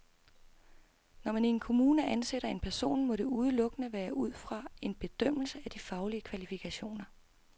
Når man i en kommune ansætter en person, må det udelukkende være ud fra en bedømmelse af de faglige kvalifikationer.